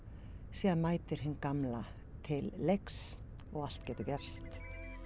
síðan mætir hin gamla til leiks og allt getur gerst